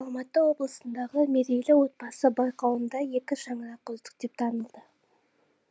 алматы облысындағы мерейлі отбасы байқауында екі шаңырақ үздік деп танылды